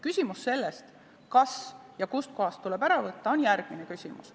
Küsimus, kas ja kust kohast tuleb ära võtta, on järgmine küsimus.